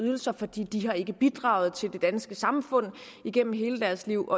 ydelser fordi de ikke har bidraget til det danske samfund igennem hele deres liv